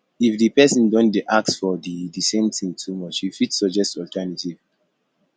if di person don dey ask for the the same thing too much you fit suggest alternative